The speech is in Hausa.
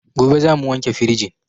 Gobe zamu wanke firijin